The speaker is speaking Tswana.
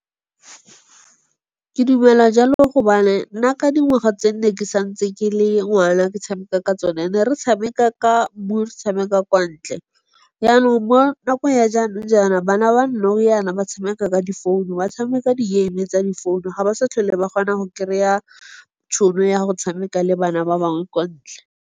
Ke dumela jalo gobane nna ka dingwaga tse ne ke santse ke le ngwana ke tshameka ka tsone, ne re tshameka ka mmu, re tshameka kwa ntle. Jaanong mo nakong ya jaanong-jaana, bana ba nou yana, ba tshameka ka difounu. Ba tshameka di game-e tsa difounu. Ga ba sa tlhole ba kgona go kry-a tšhono ya go tshameka le bana ba bangwe kwa ntle.